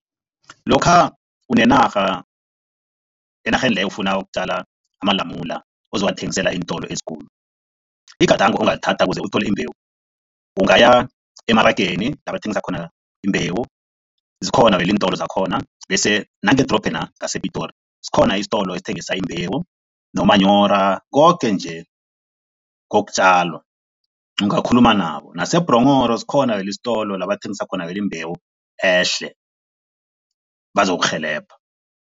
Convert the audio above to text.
Lokha kunenarha enarheni leyo ufuna ukutjala amalamula ozowathengisela eentolo ezikulu, igadango ongalithatha ukuze uthole imbewu, ungaya emarageni la bathengisa khona imbewu, zikhona vele iintolo zakhona bese nangedorobhena ngasePitori, sikhona isitolo esingethinga imbewu nomanyora, koke nje kokutjalwa, ungakhuluma nabo. NaseBhronghoro zikhona istolo la bathengisa khona vele imbewu ehle, bazokurhelebha.